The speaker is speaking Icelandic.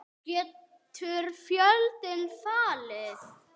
Getur Fjölnir fallið?